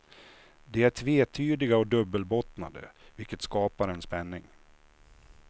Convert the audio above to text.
De är tvetydiga och dubbelbottnade, vilket skapar en spänning.